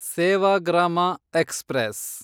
Sevagram express